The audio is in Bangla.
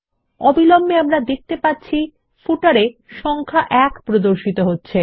অবিলম্বে আমরা দেখতে পাচ্ছি পাদ্লেখতে সংখ্যা ১ প্রদর্শিত হচ্ছে